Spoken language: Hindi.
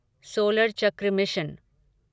सोलर चक्र मिशन